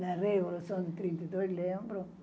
Da Revolução de trinta e dois, lembro.